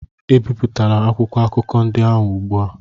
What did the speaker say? ebipụtala akwụkwọ akụkọ ndị ahụ ugbu a!